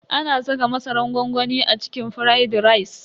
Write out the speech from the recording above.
Ana saka masaran gwangwami a cikin firaidi rice.